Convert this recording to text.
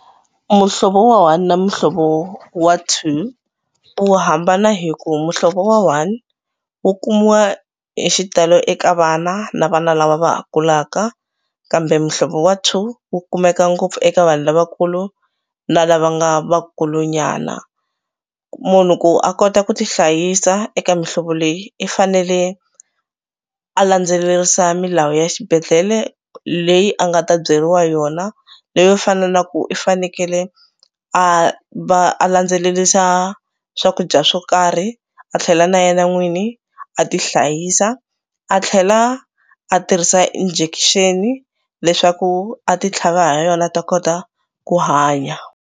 Muhlovo wa one na muhlovo wa two wu hambana hi ku muhlovo wa one wu kumiwa hi xitalo eka vana na vana lava va ha kulaka kambe muhlovo wa two wu kumeka ngopfu eka vanhu lavakulu na lava nga vakulunyana. Munhu ku a kota ku tihlayisa eka mihlovo leyi i fanele a landzelerisa milawu ya xibedhlele leyi a nga ta byeriwa yona leyo fana na ku i fanekele a va a landzelerisa swakudya swo karhi a tlhela na yena n'wini a tihlayisa a tlhela a tirhisa injection-i leswaku a titlhava hi yona a ta kota ku hanya.